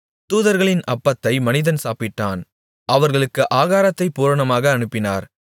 தூதர்களின் அப்பத்தை மனிதன் சாப்பிட்டான் அவர்களுக்கு ஆகாரத்தைப் பூரணமாக அனுப்பினார்